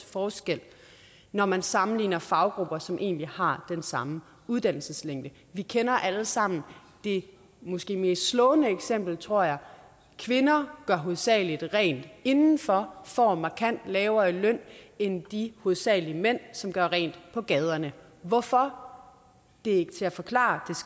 forskel når man sammenligner faggrupper som egentlig har den samme uddannelseslængde vi kender alle sammen det måske mest slående eksempel tror jeg kvinder gør hovedsagelig rent indenfor og får markant lavere løn end de hovedsagelig mænd som gør rent på gaderne hvorfor det er ikke til at forklare